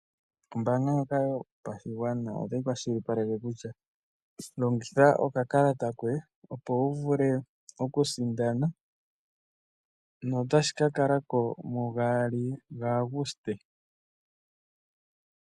Ombaanga ndjoka yopashigwana otayi kwashilipaleke kutya longitha oka kalata koye opo wu vule okusindana. notashi ka kala ko mugaali ga Aguste.